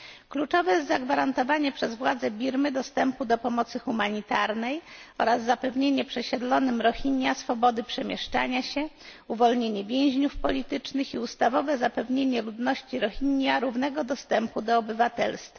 Kluczowe jest zagwarantowanie przez władze Birmy dostępu do pomocy humanitarnej oraz zapewnienie przesiedlonym Rohingya swobody przemieszczania się, uwolnienie więźniów politycznych i ustawowe zapewnienie ludności Rohingya równego dostępu do obywatelstwa.